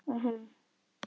Og hún.